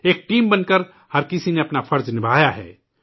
ایک ٹیم بن کر ہر کسی نے اپنا فرض ادا کیا ہے